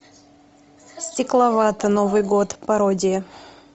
стекловата новый год пародия